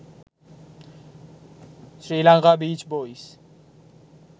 sri lanka beach boys